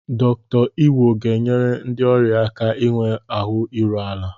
Dr. Iwo ga-enyere ndị ọrịa aka inwe ahụ iru ala.